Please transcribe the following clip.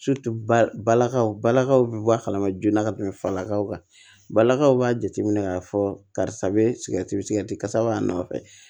balakaw balakaw be bɔ a kalama joona ka tɛmɛ falakaw kan balakaw b'a jateminɛ k'a fɔ karisa be sigɛrɛti mi sigati kasa b'a nɔfɛ